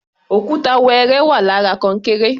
Òkúta wẹrẹ wà lára kọnkéré.